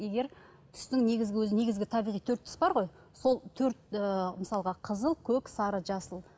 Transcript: егер түстің негізгі өзі негізгі табиғи төрт түс бар ғой сол төрт ыыы мысалға қызыл көк сары жасыл